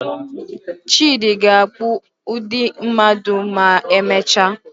Chidi ga-akpụ ụdị mmadụ ma emechaa.